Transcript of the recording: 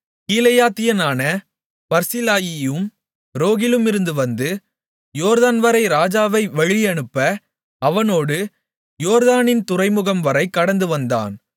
கீலேயாத்தியனான பர்சிலாயியும் ரோகிலிமிலிருந்து வந்து யோர்தான்வரை ராஜாவை வழியனுப்ப அவனோடு யோர்தானின் துறைமுகம்வரை கடந்துவந்தான்